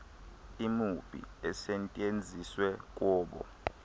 imipu esetyenziswe kobo